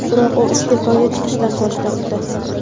biroq u iste’foga chiqishdan bosh tortdi.